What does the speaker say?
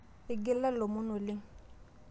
eigila ilomon oleng